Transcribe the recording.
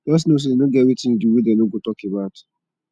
jus no sey e no get wetin yu do wey dem no go tok about